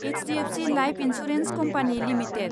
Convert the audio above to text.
HDFC life insurance company limited